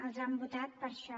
ens han votat per a això